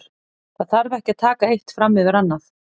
Það þarf ekki að taka eitt fram yfir annað.